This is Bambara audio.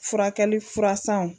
Furakɛli fura sanw